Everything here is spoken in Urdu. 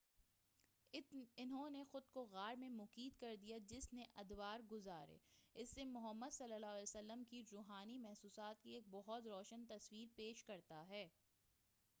اُنہوں نے خُود کو غار میں مقید کردیا، جس نے ادوار گُزارے، اس سے محمد ﷺ کی رُوحانی محسوسات کی ایک بہت روشن تصویر پیش کرتا ہے۔